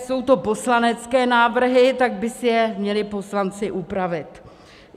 Jsou to poslanecké návrhy, tak by si je měli poslanci upravit.